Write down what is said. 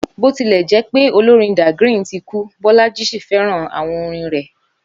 Bó tilẹ̀ jẹ́ pé olórin Dagrin ti kú, Bọ́lájí ṣì fẹ́ràn àwọn orin rẹ̀